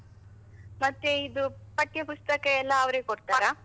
ಮತ್ತೆ ಇದು ಪಠ್ಯಪುಸ್ತಕ ಎಲ್ಲಾ ಅವರೇ .